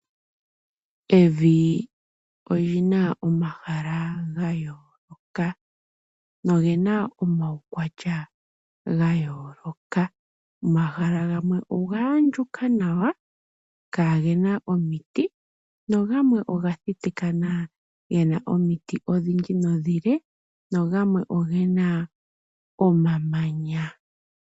Evi oli na mahala ga yooloka, noge na omaukwatya ga yooloka. Omahala gamwe oga andjuka nawa, kaa ge na omiti, nagamwe oga thitikana, ge na omiti odhindji nomile na gamwe oge na omamanya.